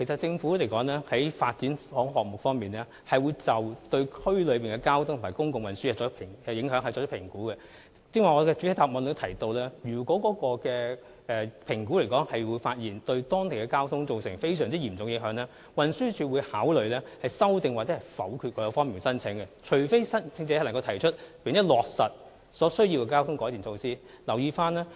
政府進行發展項目時，其實會對區內交通和公共運輸進行影響評估，我剛才在主體答覆中指出，如果評估發現有關發展項目可能會對當區的交通情況造成嚴重影響，運輸署會考慮修訂或否決有關申請，除非申請者能提出並落實所需的交通改善措施。